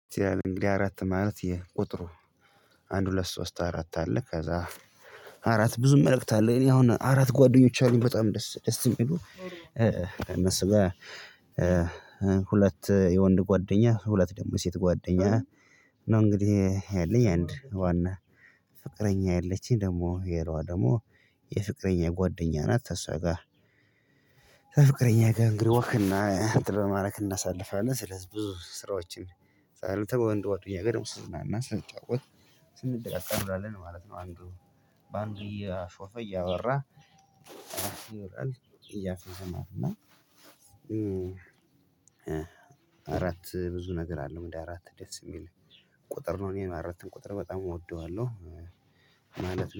እንግዲህ አራት ማለት የሄ ቁጥሩ። አንድ ሁለት ሶስት አራት አለ። ከዛ አራት ብዙ መልእክት አለ። እኔ አሁን አራት ጓደኞች አሉኝ በጣም ደስ ደስ የሚሉ እነሱጋ። ሁለት የወንድ ጓደኛ ሁለት ደግሞ ሴት ጓደኛ ነው። እንግዲህ ያለኝ አንድ ዋና ፍቅረኛ አለችኝ። ደግሞ ሌላዋ ደግሞ የፍቅረኛ ጓደኛ ናት። ተሷጋ ፍቅረኛዬ ጋር እንግዲህ ወክ በማድረግ እናሳልፋለን። ስለዚህ ብዙ ስራዎችን ሰርተን እንደ ወክ ያገርም ስንዝናና ስንጫወት ስንድቃቃ እንውላለን ማለት ነው። አንዱ በአንዱ እያሾፈ እያወራ እያፌዘ ነው። እና አራት ብዙ ነገር አለው። እንደ አራት ደስ የሚል ቁጥር ነው። እኔ አራትን ቁጥር በጣም እወደዋለሁ ማለት